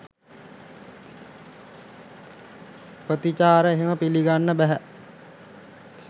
ප්‍රතිචාර එහෙම පිළිගන්න බැහැ.